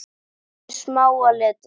Lestu smáa letrið.